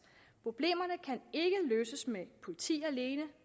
problemerne kan ikke løses med politi alene